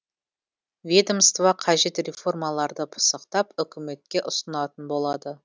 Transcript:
ведомство қажет реформаларды пысықтап үкіметке ұсынатын болады